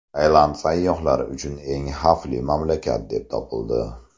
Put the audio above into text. Tailand sayyohlar uchun eng xavfli mamlakat deb topildi.